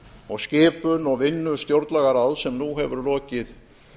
og skipun og vinnu stjórnlagaráðs sem nú hefur lokið